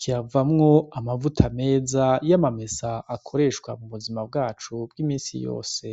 kiravamwo amavuta meza y'amamesa akoreshwa mu buzima bwacu bw' imisi yose.